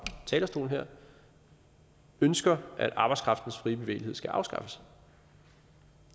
talerstolen ønsker at arbejdskraftens frie bevægelighed skal afskaffes